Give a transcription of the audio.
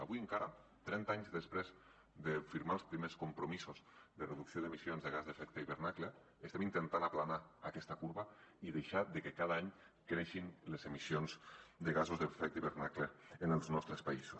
avui encara trenta anys després de firmar els primers compromisos de reducció d’emissions de gasos amb efecte d’hivernacle estem intentant aplanar aquesta corba i que cada any deixin de créixer les emissions de gasos amb efecte d’hivernacle en els nostres països